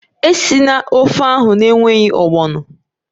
Esila ofe ahụ n'enweghị ogbono!